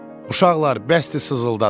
Uşaqlar, bəsdir sızıldadız!